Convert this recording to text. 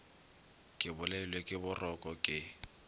ke bolailwe ke boroko ke